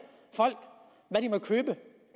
folk hvad de må købe